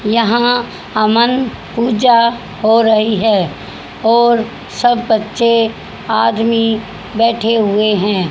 यहां अमन पूजा हो रही है और सब बच्चे आदमी बैठे हुए हैं।